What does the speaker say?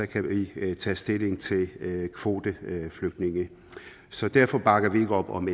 kan vi tage stilling til kvoteflygtninge så derfor bakker vi ikke op om